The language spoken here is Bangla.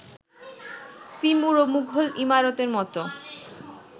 তিমুর ও মুঘল ইমারতের মতো